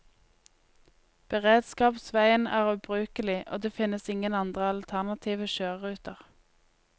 Beredskapsveien er ubrukelig, og det finnes ingen andre alternative kjøreruter.